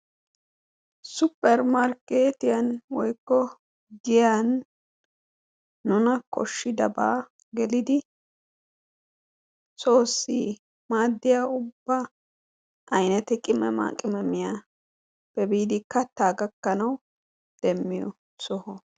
Supper Markkeetiyani woykko giiyani nuna kooshidabada geelidi soosi maadiya uba aynete qimemaqimeiyappe biidi katta gakkanawu demiyo sohuwaa.